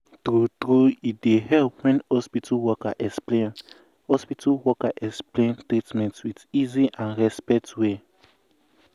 true true e dey help wen hospital worker explain hospital worker explain treatment with easy and respect way.